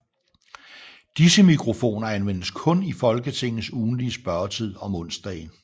Disse mikrofoner anvendes kun i Folketingets ugentlige spørgetid om onsdagen